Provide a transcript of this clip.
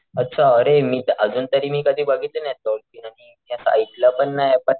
अच्छा अरे मी अजून तरी मी कधी बघितले नाही डॉल्फिन आणि मी असं ऐकलं पण नाही बट,